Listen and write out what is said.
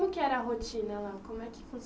Que era a rotina lá, como é que